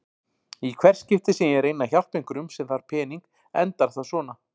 Í hvert skipti sem ég reyni að hjálpa einhverjum sem þarf pening endar það svona.